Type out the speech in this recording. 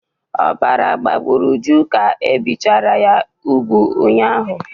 Ọbara gbagburu Uju ka e bichara ya úgwù ụnyaahụ.